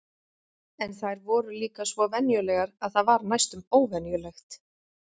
En þær voru líka svo venjulegar að það var næstum óvenjulegt.